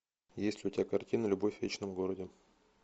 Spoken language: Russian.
есть ли у тебя картина любовь в вечном городе